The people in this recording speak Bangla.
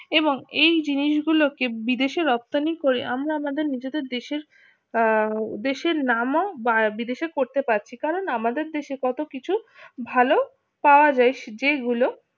এবং এই জিনিসগুলোকে বিদেশে রপ্তানি করে আমরা আমাদের নিজেদের দেশের নামও বা বিদেশে করতে পারছি কারণ আমাদের দেশে কত কিছু ভালো পাওয়া যায় যেগুলো